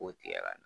K'o tigɛ ka na